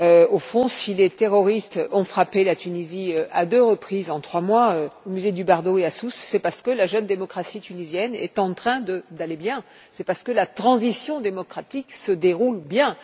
Au fond, si les terroristes ont frappé la Tunisie à deux reprises en trois mois au musée du Bardo et à Sousse c'est parce que la jeune démocratie tunisienne se porte bien et que la transition démocratique se déroule bien.